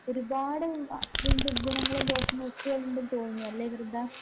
ഒരുപാട് മാ ഗുണങ്ങളും ദോഷങ്ങളുമൊക്കെയുണ്ട് തോന്നുന്നുഅല്ലേ വൃന്ദാ?